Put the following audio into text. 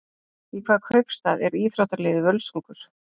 Í hvaða kaupstað er íþróttaliðið Völsungur?